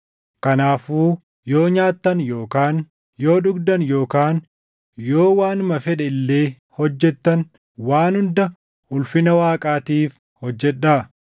Kanaafuu yoo nyaattan yookaan yoo dhugdan yookaan yoo waanuma fedhe illee hojjettan waan hunda ulfina Waaqaatiif hojjedhaa.